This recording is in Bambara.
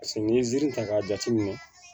paseke n' ye ziiri ta k'a jateminɛ